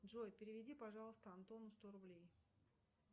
джой переведи пожалуйста антону сто рублей